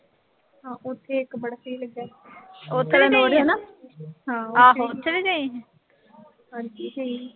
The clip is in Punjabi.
ਹਾਂ ਉਥੇ ਇੱਕ ਬੜਾ ਸਹੀ ਲੱਗਿਆ ਸੀ। ਹਾਂ ਉਥੇ ਵੀ ਗਈ ਸੀ। ਹੋਰ ਕੀ ਗਈ ਸੀ।